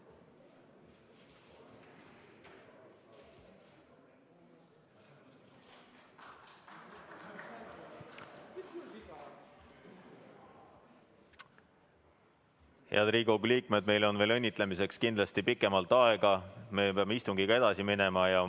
Head Riigikogu liikmed, meil on õnnitlemiseks hiljem kindlasti rohkem aega, praegu peame istungiga edasi minema.